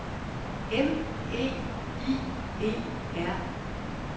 M E I E R